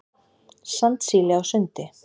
Sandsíli á sundi.